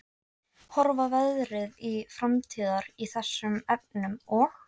Horfa verði til framtíðar í þessum efnum og?